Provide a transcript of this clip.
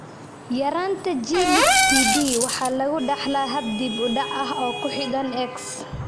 yaraanta G lix PD waxa lagu dhaxlaa hab dib u dhac ah oo ku xidhan X.